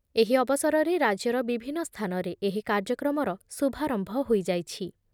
ଏହି ଅବସରରେ ରାଜ୍ୟର ବିଭିନ୍ନ ସ୍ଥାନରେ ଏହି କାର୍ଯ୍ୟକ୍ରମର ଶୁଭାରମ୍ଭ ହୋଇଯାଇଛି ।